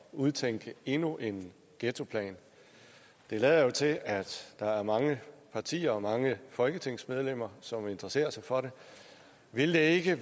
udtænke endnu en ghettoplan det lader jo til at der er mange partier og mange folketingsmedlemmer som interesserer sig for det ville det ikke